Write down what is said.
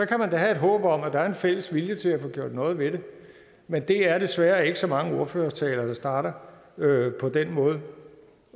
kan man da have et håb om at der er en fælles vilje til at få gjort noget ved det men det er desværre ikke så mange ordførertaler der starter på den måde